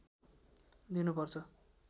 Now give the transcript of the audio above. दिनु पर्छ